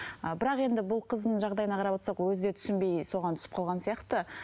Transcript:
ы бірақ енді бұл қыздың жағдайына қарап отырсақ өзі де түсінбей соған түсіп қалған сияқты